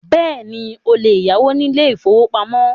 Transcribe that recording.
Bẹ́ẹ̀ni, o lè yáwó ní ilé ìfọwọ́pamo.